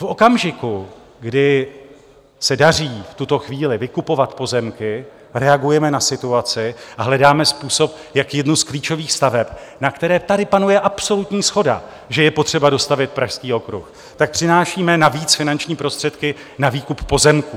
V okamžiku, kdy se daří v tuto chvíli vykupovat pozemky, reagujeme na situaci a hledáme způsob, jak jednu z klíčových staveb, na které tady panuje absolutní shoda, že je potřeba dostavět, Pražský okruh, tak přinášíme navíc finanční prostředky na výkup pozemků.